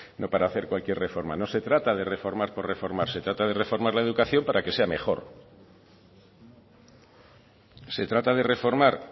no para hacer cualquier reforma no se trata de reformar por reformar se trata de reformar la educación para que sea mejor se trata de reformar